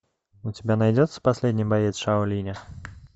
у тебя найдется последний боец шаолиня